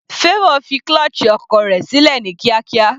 Favour fi clutche ọkọ̀ sílẹ̀ ní kíákíá.